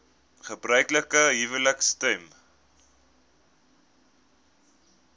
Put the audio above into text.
gebruiklike huwelike stem